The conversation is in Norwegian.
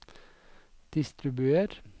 distribuer